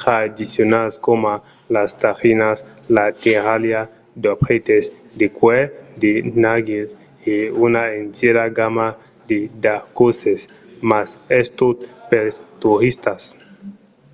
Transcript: tradicionals coma las tajinas la terralha d'objèctes de cuèr de narguils e una entièra gamma de daquòsses mas es tot pels toristas